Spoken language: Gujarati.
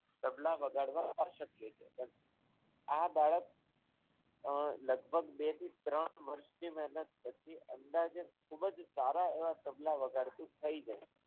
તબલા વગાડવા શક્ય છે આ બાળક અર લગભગ બે થી ત્રણ વર્ષની મહેનત પછી અંદાજિત ખૂબ જ સારા એવા તબલા વગાડતું થઈ ગયું હોય છે.